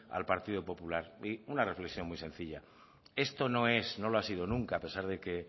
al partido popular y una reflexión muy sencilla esto no es no lo ha sido nunca a pesar de que